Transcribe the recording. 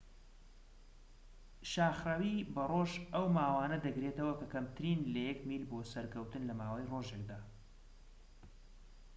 شاخڕەویی بە ڕۆژ ئەو ماوانە دەگرێتەوە کە کەمترن لە یەك میل بۆ سەرکەوتن لە ماوەی ڕۆژێکدا